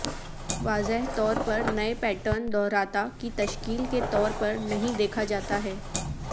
واضح طور پر نئے پیٹرن دوہراتا کی تشکیل کے طور پر نہیں دیکھا جاتا ہے